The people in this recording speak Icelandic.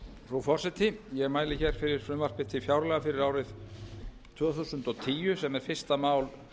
frú forseti ég mæli hér fyrir frumvarpi til fjárlaga fyrir árið tvö þúsund og tíu sem er fyrsta mál